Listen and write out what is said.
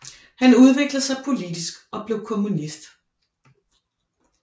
Han udviklede sig politisk og blev kommunist